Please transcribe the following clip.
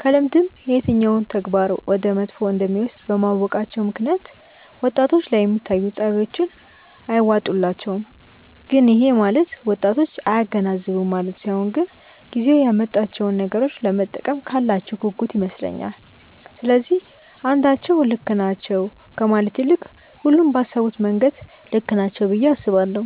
ከልምድም የትኛው ተግባር ወደ መጥፎ እንደሚወስድ በማወቃቸው ምክንያት ወጣቶች ላይ የሚታዩት ጸባዮች አይዋጡላቸውም። ግን ይሄ ማለት ወጣቶች አያገናዝቡም ማለት ሳይሆን ግን ጊዜው ያመጣቸውን ነገሮች ለመጠቀም ካላቸው ጉጉት ይመስለኛል። ስለዚህ አንዳቸው ልክ ናቸው ከማለት ይልቅ ሁሉም ባሰቡበት መንገድ ልክ ናቸው ብዬ አስባለሁ።